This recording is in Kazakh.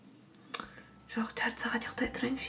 жоқ төрт сағат ұйықтай тұрайыншы